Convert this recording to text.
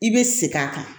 I bɛ segin a kan